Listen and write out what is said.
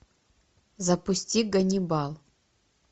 запусти ганнибал